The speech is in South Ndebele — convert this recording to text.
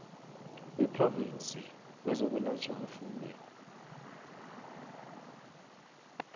wephrovinsi wezokwelatjhwa kwefuyo